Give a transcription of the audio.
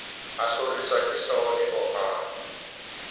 a hloriswa kehlooho e opang